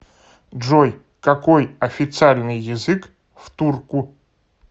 джой какой официальный язык в турку